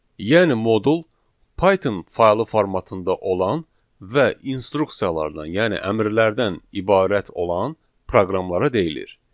Yəni modul Python faylı formatında olan və instruksiyalardan, yəni əmrlərdən ibarət olan proqramlara deyilir.